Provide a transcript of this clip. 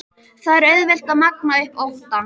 Það er auðvelt að magna upp óttann.